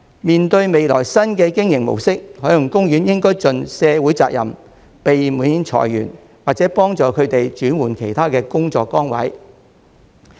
面對未來新的經營模式，海洋公園應盡社會責任，避免裁員，或協助他們轉換其他工作崗位。